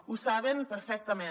ho saben perfectament